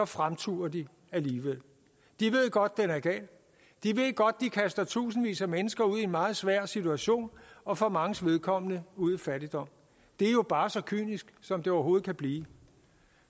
fremturer de alligevel de ved godt den er gal de ved godt de kaster tusindvis af mennesker ud i en meget svær situation og for manges vedkommende ud i fattigdom det er jo bare så kynisk som det overhovedet kan blive